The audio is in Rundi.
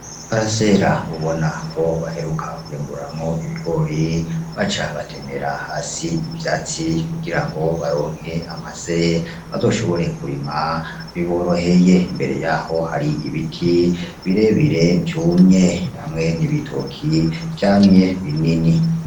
Iparasera ubonako baheruka kwimburamwo ibigori baca batemera hasi ivyatsi kugira baronke amase bazoshobore kurima biboroheye, imbere yaho hari ibiti birebire vyumye hamwe n'ibitoki vyamye binini.